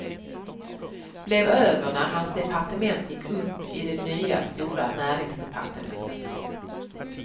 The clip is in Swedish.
Blev över när hans departement gick upp i det nya stora näringsdepartementet.